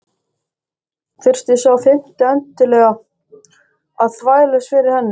Þurfti sá fimmti endilega að þvælast fyrir henni!